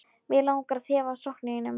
Mig langar að þefa af sokkum þínum.